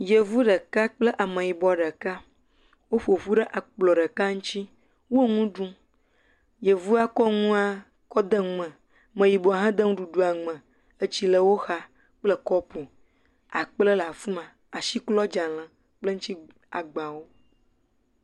yevu ɖeka kple ameyibɔ ɖeka wó ƒoƒu ɖe akplɔ̃ ɖeka ŋtsi wó ŋuɖum yevua kɔ ŋua kɔ de ŋume meyibɔ hã de ŋuɖuɖua ŋume etsi le wó xa kple kɔpu akple la'fima asi klɔ dzãle kple eŋtsi agbawo